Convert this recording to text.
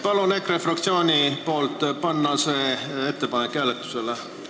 Palun EKRE fraktsiooni nimel panna see ettepanek hääletusele!